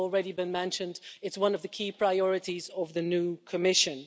as has already been mentioned, it's one of the key priorities of the new Commission.